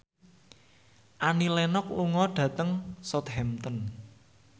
Annie Lenox lunga dhateng Southampton